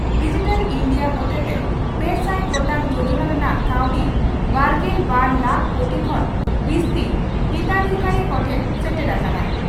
Digital India ᱦᱚᱛᱮᱛᱮ ᱯᱮᱥᱟᱭ ᱜᱚᱴᱟᱝ ᱡᱚᱡᱚᱱᱟ ᱨᱮᱱᱟᱜ ᱠᱟᱹᱣᱰᱤ ᱵᱟᱨᱜᱮᱞ ᱵᱟᱨ ᱞᱟᱠᱷ ᱠᱳᱴᱤ ᱠᱷᱚᱱ ᱵᱤᱥᱛᱤ ᱦᱤᱛᱟᱫᱷᱤᱠᱟᱨᱤ ᱠᱚᱴᱷᱮᱱ ᱥᱮᱴᱮᱨ ᱟᱠᱟᱱᱟ ᱾